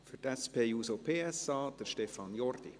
Für die SP-JUSO-PSA-Fraktion: Stefan Jordi.